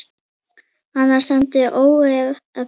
Annars stefndi í óefni.